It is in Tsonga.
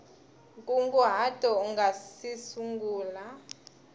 nkunguhato u nga si sungula